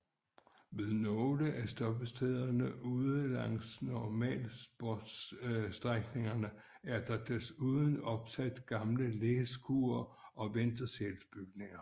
Ved nogle af stoppestederne ude langs normalsporsstrækningen er der desuden opsat gamle læskure og ventesalsbygninger